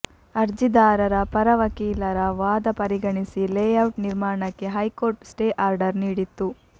ಅರ್ಜಿದಾರರ ಪರ ವಕೀಲರ ವಾದ ಪರಿಗಣಿಸಿ ಲೇಔಟ್ ನಿರ್ಮಾಣಕ್ಕೆ ಹೈಕೋರ್ಟ್ ಸ್ಟೇ ಆರ್ಡರ್ ನೀಡಿತ್ತು